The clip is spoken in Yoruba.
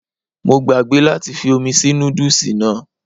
Mo gbàgbé láti fi omi sí nódùsì náà